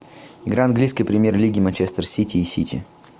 игра английской премьер лиги манчестер сити и сити